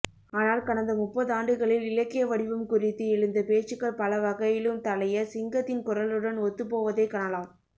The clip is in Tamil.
ஆனால் கடந்த முப்பதாண்டுகளில் இலக்க்ய வடிவம் குறித்து எழுந்த பேச்சுகள் பலவகையிலும் தளைய சிங்கத்தின் குரலுடன் ஒத்துப்போவதைக் கணலாம்